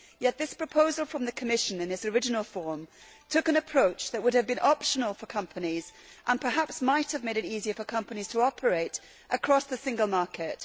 Yet this proposal from the Commission, in its original form, took an approach that would have been optional for companies and perhaps might have made it easy for companies to operate across the single market.